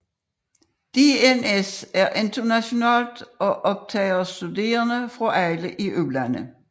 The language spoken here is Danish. DNS er internationalt og optager studerende fra alle EU lande